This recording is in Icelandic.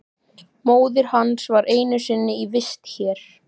Móðir hans var einu sinni í vist hér.